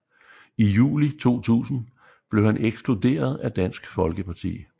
I juli 2000 blev han ekskluderet af Dansk Folkerparti